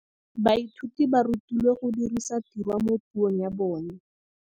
Baithuti ba rutilwe go dirisa tirwa mo puong ya bone.